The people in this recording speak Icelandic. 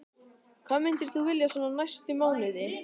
Hvað myndir þú vilja svona næstu mánuði?